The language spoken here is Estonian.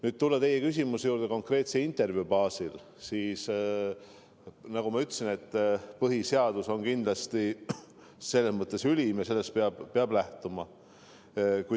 Tulles nüüd teie küsimuse juurde konkreetse intervjuu baasil, siis, nagu ma ütlesin, põhiseadus on kindlasti selles mõttes ülim ja sellest peab lähtuma.